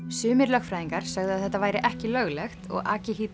sumir lögfræðingar sögðu að þetta væri ekki löglegt og